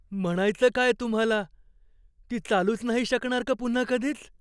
म्हणायचं काय तुम्हाला? ती चालूच नाही शकणार का पुन्हा कधीच?